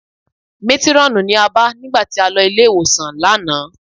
Métírọ́ọ̀nù ni a bá nígbà tí a lọ ilé-ìwòsàn lánàá